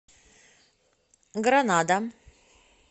гранада